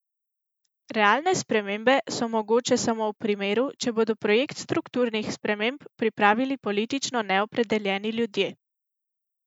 Realne spremembe so mogoče samo v primeru, če bodo projekt strukturnih sprememb pripravili politično neopredeljeni ljudje.